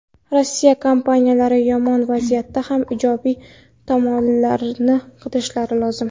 Rossiya kompaniyalari yomon vaziyatda ham ijobiy tomonlarni qidirishlari lozim.